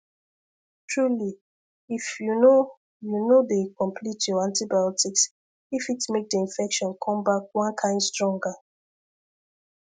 truly if you no you no dey complete your antibiotics e fit make the infection come back one kind stronger